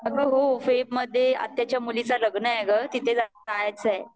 अग हो फेब मध्ये आत्याच्या मुलीच लग्न आहे तिथे जायचं आहे